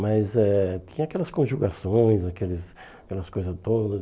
Mas eh tinha aquelas conjugações, aqueles aquelas coisas todas.